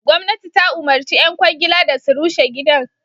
Gwamnati ta umarci ƴan ƙwangila da su rushe gidan.